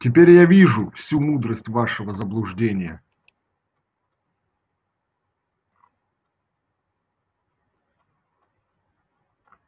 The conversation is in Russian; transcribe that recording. теперь я вижу всю мудрость вашего заблуждения